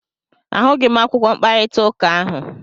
A hụghị m akwụkwọ mkparịta ụka ahụ.